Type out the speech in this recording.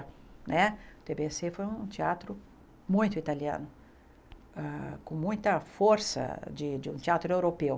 Né o TBC foi um teatro muito italiano, com muita força de de um teatro europeu.